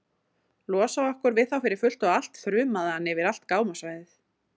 Losa okkur við þá fyrir fullt og allt, þrumaði hann yfir allt gámasvæðið.